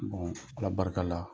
ala barika la,